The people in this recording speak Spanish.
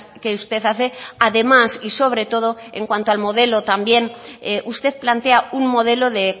que usted hace además y sobre todo en cuanto al modelo también usted plantea un modelo de